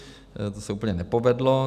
To se úplně nepovedlo.